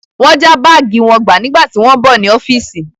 Wọ́n já báàgì wọn gbà nígbà tí wọ́n ń bọ̀ ní ọ́fíìsì.